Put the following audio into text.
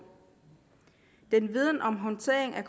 den viden om håndteringen af